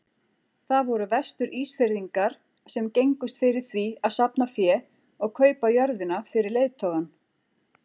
Það voru Vestur-Ísfirðingar sem gengust fyrir því að safna fé og kaupa jörðina fyrir leiðtogann.